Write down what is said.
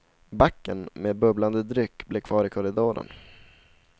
Backen med bubblande dryck blev kvar i korridoren.